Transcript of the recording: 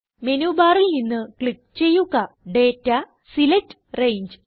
menu ബാറിൽ നിന്ന് click ചെയ്യുക ഡാറ്റ സെലക്ട് രംഗെ